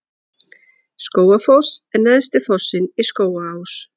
Skógafoss er neðsti fossinn í Skógaá.